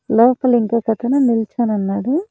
లోపల ఇంకొకతను నిల్చొనున్నాడు.